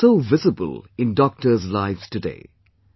And it is so visible in Doctor's lives today